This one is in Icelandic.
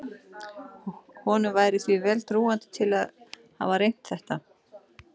Honum væri því vel trúandi til að hafa reynt þetta.